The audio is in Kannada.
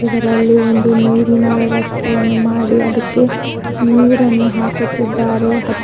ಇದರಲ್ಲಿ ಒಂದು ನೀರಿನ ವ್ಯವಸ್ಥೆಯನ್ನು ಮಾಡಿ ಅದಕ್ಕೆ ನೀರನ್ನು ಹಾಕುತ್ತಿದ್ದಾರೆ.